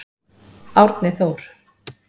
Árni Þór.